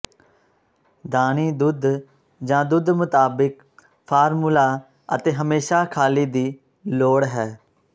ਦਾਨੀ ਦੁੱਧ ਜ ਦੁੱਧ ਮੁਤਾਬਿਕ ਫਾਰਮੂਲਾ ਅਤੇ ਹਮੇਸ਼ਾ ਖਾਲੀ ਦੀ ਲੋੜ ਹੈ